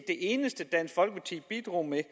eneste dansk folkeparti bidrog med